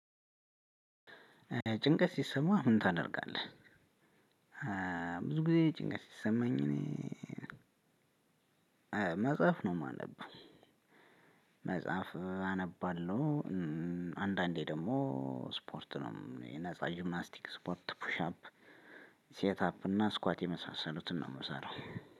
ጭንቀት ሲሰማህ ምን ታደርጋለህ? ብዙ ጊዜ ጭንቀት ሲሰማኝ እኔ መጽሐፍ ነው የማነበው። መጽሐፍ አነባለሁ። አንዳንዴ ደግሞ ስፖርት ነው የነፃ ጂምናስቲክ ስፖርት ፑሽ አፕ ሴት አፕ እና ስኳት የመሳሰሉትን ነው የምሰራው።